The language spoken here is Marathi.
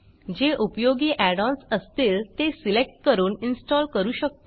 जे उपयोगी add ओएनएस असतील ते सिलेक्ट करून इन्स्टॉल करू शकतो